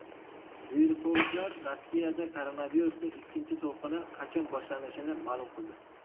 Virusologlar Rossiyada koronavirusning ikkinchi to‘lqini qachon boshlanishini ma’lum qildi.